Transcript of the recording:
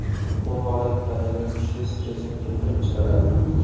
Bu holat tanada kuchli stressni keltirib chiqaradi.